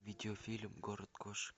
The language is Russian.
видеофильм город кошек